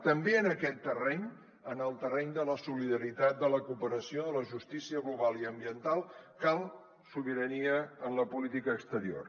també en aquest terreny en el terreny de la solidaritat de la cooperació de la justícia global i ambiental cal sobirania en la política exterior